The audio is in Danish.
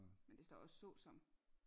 Men der står også såsom